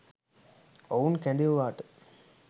ඔවුන් කැදෙව්වාට